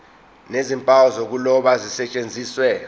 nezimpawu zokuloba zisetshenziswe